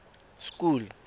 school